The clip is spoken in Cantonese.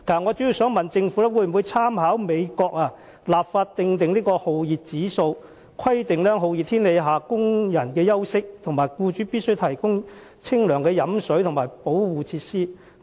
我主要想問，政府會否參考美國的做法，立法訂立酷熱指數、規定工人在酷熱天氣下的休息時間，以及訂明僱主必須提供清涼的飲用水和相關保護設施？